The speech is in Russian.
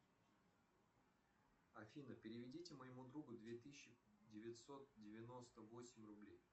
афина переведите моему другу две тысячи девятьсот девяносто восемь рублей